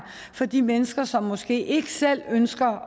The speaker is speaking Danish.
for de mennesker som måske ikke selv ønsker